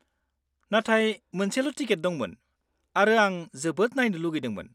-नाथाय मोनसेल' टिकेट दंमोन, आरो आं जोबोद नायनो लुगैदोंमोन।